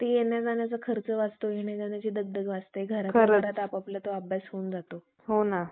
ते येण्याजाण्याचा खर्च वाचतो येण्याजाण्याची दगदग वाचते. घरात बसतात आपाआपला तो अभ्यास होऊन जातो